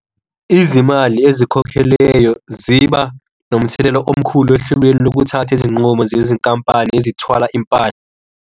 Izimali ezikhokhelweyo ziba nomthelelo omkhulu ohlelweni lokuthatha izinqumo zezinkampani ezithwala impahla.